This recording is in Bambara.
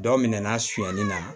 Dɔ minɛnna sonyani na